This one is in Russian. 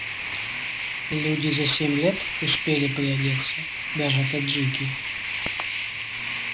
люди за семь лет успели приодеться даже таджики